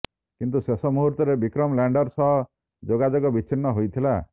କିନ୍ତୁ ଶେଷ ମୁହୂର୍ତ୍ତରେ ବିକ୍ରମ ଲ୍ୟାଣ୍ଡର ସହ ଯୋଗାଯୋଗ ବିଚ୍ଛିନ୍ନ ହୋଇଥିଲା